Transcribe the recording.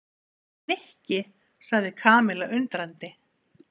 Nikki sagði Kamilla undrandi.